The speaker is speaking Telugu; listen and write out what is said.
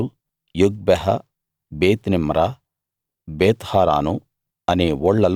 యాజెరు యొగ్బెహ బేత్నిమ్రా బేత్హారాను